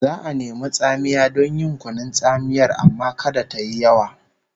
Za'a nemi tsamiya don yin kunun tsamiyar amma kada tayi yawa